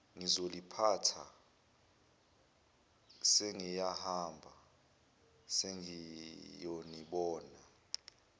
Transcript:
ngizoliphatha sengiyahamba sengiyonibona